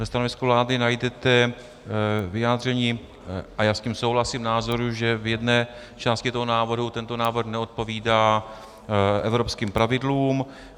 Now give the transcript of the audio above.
Ve stanovisku vlády najdete vyjádření - a já s tím souhlasím - názoru, že v jedné části toho návrhu tento návrh neodpovídá evropským pravidlům.